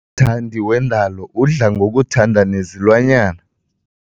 Umthandi wendalo udla ngokuthanda nezilwanyana.